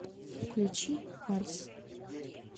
включи вальс